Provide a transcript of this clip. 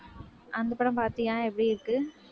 அந்த படம் பார்த்தியா? எப்படி இருக்கு